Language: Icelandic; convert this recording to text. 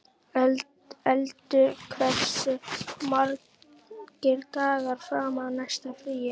Eldur, hversu margir dagar fram að næsta fríi?